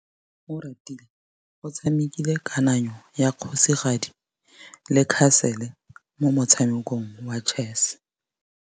Oratile o tshamekile kananyô ya kgosigadi le khasêlê mo motshamekong wa chess.